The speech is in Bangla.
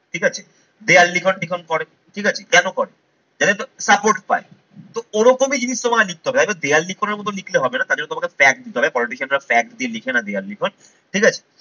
ঠিক আছে? দেওয়াল লিখন লিখন করে ঠিক আছে কেন করে? support পায়। তো ওরকমই জিনিস তোমায় নিতে হবে হয়তো দেয়াল লিখনের মতো লিখলে হবে না তার জন্য তোমাকে flag নিতে হবে politician রা flag দিয়ে লিখে না দেওয়াল লিখন ঠিক আছে।